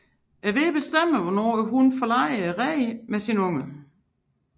Vejret bestemmer hvornår hunnen forlader reden med sine unger